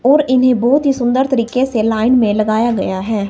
और इन्हें बहुत ही सुंदर तरीके से लाइन में लगाया गया है।